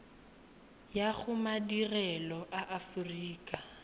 ya go madirelo a aforika